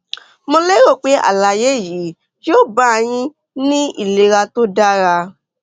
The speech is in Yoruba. mo lérò pé àlàyé yìí yóò bá a yín ní ìlera tó dára